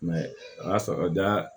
a y'a sɔrɔ da